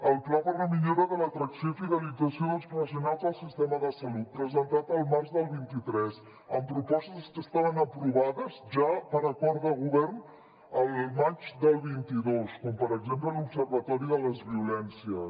el pla per a la millora de l’atracció i fidelització dels professionals del sistema de salut presentat al març del vint tres amb propostes que estaven aprovades ja per acord de govern al maig del vint dos com per exemple l’observatori de les violències